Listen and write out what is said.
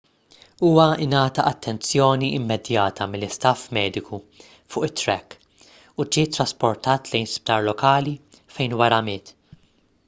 huwa ngħata attenzjoni immedjata mill-istaff mediku fuq it-track u ġie ttrasportat lejn sptar lokali fejn wara miet